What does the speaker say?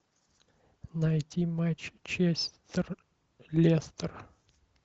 найти матч честер лестер